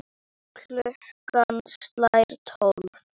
Klukkan slær tólf.